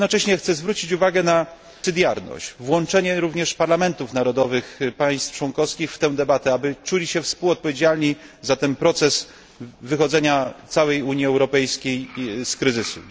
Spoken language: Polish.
Jednocześnie chcę zwrócić uwagę na pomocniczość, włączenie również parlamentów narodowych państw członkowskich w tę debatę, aby czuli się współodpowiedzialni za ten proces wychodzenia całej Unii Europejskiej z kryzysu.